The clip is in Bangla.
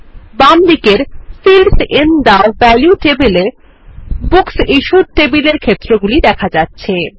বামদিকের fields in the value table এ বুকস ইশ্যুড টেবিলের ক্ষেত্রগুলি দেখা যাচ্ছে